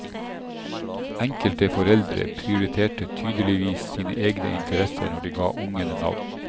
Enkelte foreldre prioriterte tydeligvis sine egne interesser når de ga ungene navn.